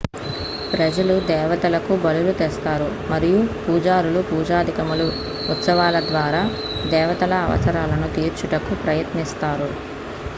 ప్రజలు దేవతలకు బలులు తెస్తారు మరియు పూజారులు పూజాదికములు ఉత్సవాల ద్వారా దేవతల అవసరాలను తీర్చుటకు ప్రయత్నిస్తారు